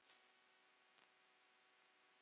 Hann bjó í Róm.